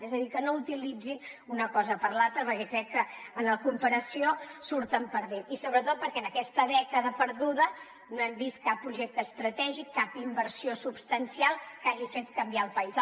és a dir que no utilitzin una cosa per l’altra perquè crec que en la comparació hi surten perdent i sobretot perquè en aquesta dècada perduda no hem vist cap projecte estratègic cap inversió substancial que hagi fet canviar el país